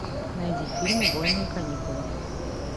найди фильм убойные каникулы